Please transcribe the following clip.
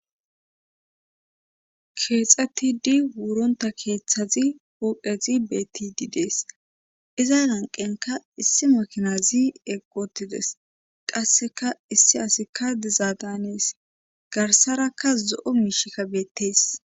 keexxetidi wuronta keeththazi pooqezi betidi dees izan hanqenka issi makinazi eqotides qasseka issi asikka dizaadanees garsarakka zo7o miishikka beettees